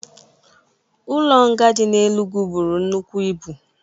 Ụlo nga di na Enugwụ bụrụ nnụkwụ ịbu